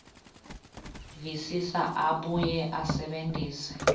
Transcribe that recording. visisa abuye asebentise